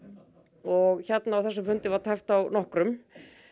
og hérna á þessum fundi var tæpt á nokkrum